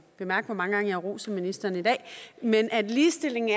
bemærk hvor mange gange jeg roser ministeren i dag nemlig at ligestilling